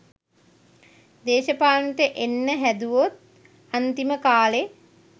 දේශපාලනයට එන්න හෑදුවෙත් අන්තිම කාලෙ.